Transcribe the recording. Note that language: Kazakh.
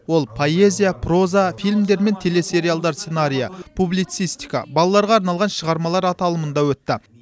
ол поэзия проза фильмдер мен телесериалдар сценариі публицистика балаларға арналған шығармалар аталымында өтті